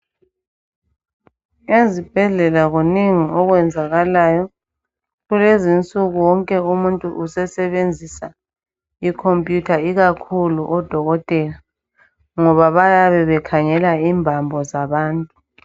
Ezibhedlela kuningi okwenzakalayo. Kulezinsuku wonke umuntu usesebenzisa icomputer ikakhulu odokotela ngoba bayabe bekhangela imbambo zabantu.